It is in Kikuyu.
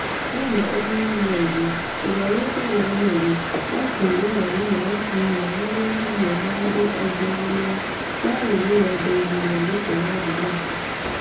Dancun Omondi, ũrĩa wetagwo Nelly, aakuire hwaĩinĩ wa Kiumia arĩ hamwe na andũ angĩ arĩa maarĩ rũgendo-inĩ rwa gũtega thamaki.